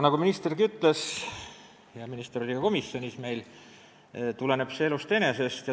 Nagu ministergi ütles – ta oli meil ka komisjonis –, see tuleb elust enesest.